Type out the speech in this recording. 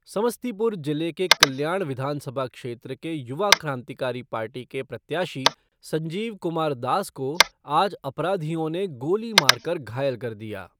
समस्तीपुर जिले के कल्याण विधानसभा क्षेत्र के युवा क्रांतिकारी पार्टी के प्रत्याशी संजीव कुमार दास को आज अपराधियों ने गोली मारकर घायल कर दिया।